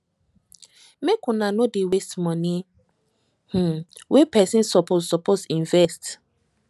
make una nor dey waste moni um wey pesin suppose suppose invest